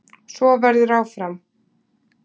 Svo verður áfram.